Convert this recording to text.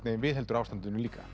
viðheldur ástandinu líka